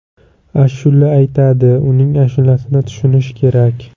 Ashula aytadi, uning ashulasini tushunish kerak.